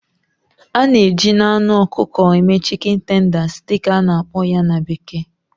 A na-eji na anụ ọkụkọ eme"chicken tenders" dị ka a na-akpọ ya na bekee